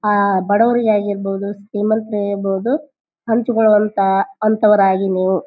ಆಹ್ಹ್ ಬಡವರಿಗೆ ಆಗಿರ್ಬಹುದು ಶ್ರೀಮಂತರೇ ಇರ್ಬಹುದು ಹಂಚಿಕೊಳ್ಳುವಂಥ ಅಂಥವರಾಗಿ ನೀವು.